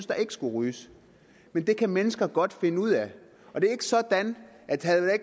der ikke skulle ryges men det kan mennesker godt finde ud af og det er ikke sådan at havde